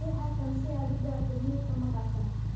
Riix halkan si aad u aragto nuxurka maqaalkan.